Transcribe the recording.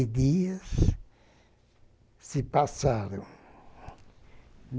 E dias se passaram.